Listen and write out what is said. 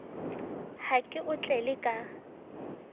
ha ke o tlele ka